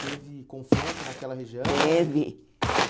Teve confronto naquela região? Teve